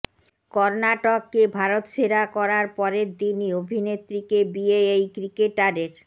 কর্নাটককে ভারতসেরা করার পরের দিনই অভিনেত্রীকে বিয়ে এই ক্রিকেটারের